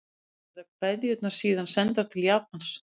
Verða kveðjurnar síðan sendar til Japans